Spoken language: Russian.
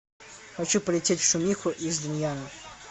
хочу полететь в шумиху из дунъяна